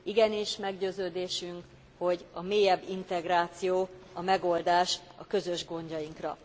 Igenis, meggyőződésünk, hogy a mélyebb integráció a megoldás a közös gondjainkra.